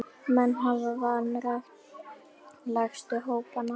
Menn hafa vanrækt lægstu hópana.